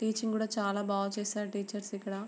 చాలా బా చేసారు టీచర్స్ ఇక్కడ--